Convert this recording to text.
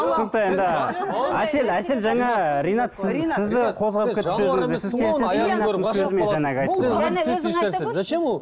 түсінікті енді әсел әсел жаңа ринат сіз сізді